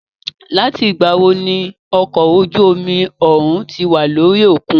Láti ìgbà wo ní okọ̀ ojú omi òhún tí wà lórí òkun?